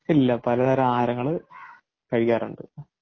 ഇല്ല പലതരം ആഹാരങ്ങള് കഴിക്കാറുണ്ട്.